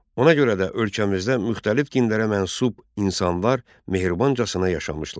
Ona görə də ölkəmizdə müxtəlif dinlərə mənsub insanlar mehribancasına yaşamışlar.